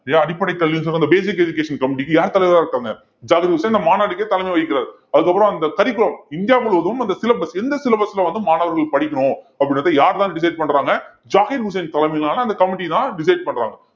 அடிப்படை கல்வின்னு சொன்னா அந்த basic education committee க்கு யாரு தலைவரா இருக்காங்க ஜாகிர் உசேன் இந்த மாநாட்டுக்கே தலைமை வகிக்கிறார் அதுக்கப்புறம் அந்த curriculum இந்தியா முழுவதும் அந்த syllabus எந்த syllabus ல வந்து மாணவர்கள் படிக்கணும் அப்படின்றதை யார்தான் decide பண்றாங்க ஜாகிர் உசேன் தலைமையிலான அந்த committee தான் decide பண்றாங்க.